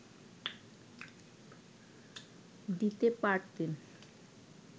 দিতে পারতেন